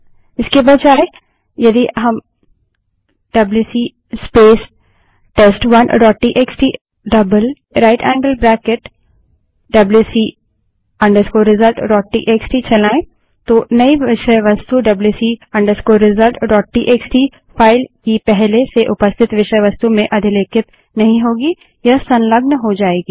इसके बजाय यदि हम WC space test one dot TXT right angled bracket twice WC result dot TXT WC space test1टीएक्सटी right angled bracket twice wc resultsटीएक्सटी चलायें तो नई विषय वस्तु WC result dot TXT wc resultsटीएक्सटी फाइल की पहले से उपस्थित विषय वस्तु में अधिलेखित नहीं होगी यह संलग्न हो जायेगी